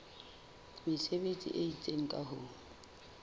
mesebetsi e itseng ka ho